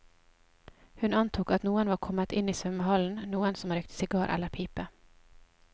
Hun antok at noen var kommet inn i svømmehallen, noen som røykte sigar eller pipe.